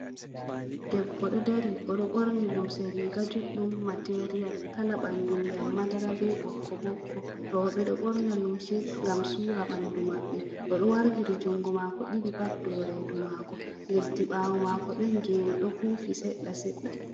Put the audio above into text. Debbo ɗo dari, o ɗo ɓorni lumse riga juɗɗum material, kala ɓandu ndiyam madara be ɓokko-ɓokko. Roɓe ɗo ɓorna lumse ngam suura ɓandu maɓɓe, o ɗo wartiri jungo maako ɗiɗi pat dow reedu maako, leddi ɓaawo maako ɗon geene ɗo fuufi seɗɗa-seɗɗa.